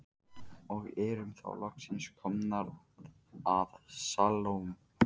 Og erum þá loksins komnar að Salóme.